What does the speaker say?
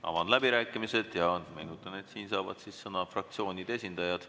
Avan läbirääkimised ja meenutan, et siin saavad sõna fraktsioonide esindajad.